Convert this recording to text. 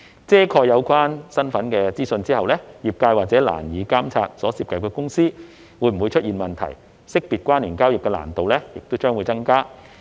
遮蓋有關身份資訊後，業界或會難以監察所涉及的公司會否出現問題，識別關聯交易的難度亦將會增加。